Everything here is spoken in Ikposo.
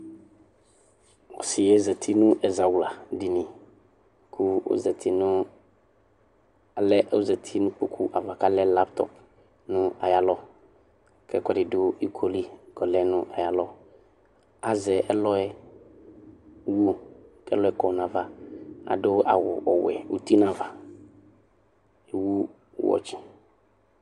Ɔsɩ yɛ zati nʋ ɛzawladini kʋ ɔzati nʋ alɛ ɔzati nʋ kpoku ava kʋ alɛ laptɔp nʋ ayalɔ kʋ ɛkʋɛdɩ dʋ iko li kʋ ɔlɛ nʋ ayalɔ Azɛ ɛlɔ yɛ wu kʋ ɛlɔ yɛ kɔ nʋ ava Adʋ awʋ ɔwɛ uti nʋ ava, ewu wɔtsɩ